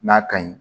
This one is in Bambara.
N'a ka ɲi